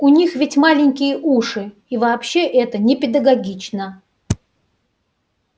у них ведь маленькие уши и вообще это непедагогично